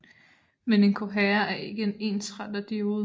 Men en kohærer er ikke en ensretterdiode